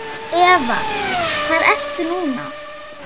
Eva: Hvar ertu núna?